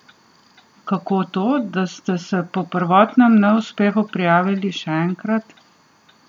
Kako to, da ste se po prvotnem neuspehu prijavili še enkrat?